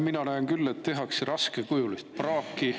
Mina näen küll, et tehakse raskekujulist praaki.